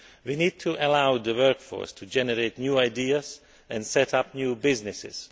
We need to allow the workforce to generate new ideas and set up new businesses.